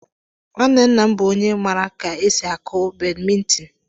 Nwanne nna m bụ onye maara ka esi akụ badmịntịn.